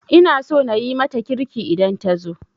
Ina so na yi mata kirki idan ta zo